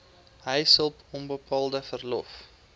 huishulp onbetaalde verlof